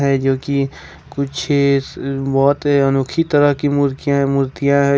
जो कि कुछ बहुत अनोखी तरह की मूर्तियां मूर्तियां है।